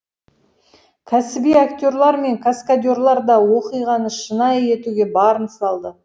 кәсіби актерлар мен каскадерлар да оқиғаны шынайы етуге барын салды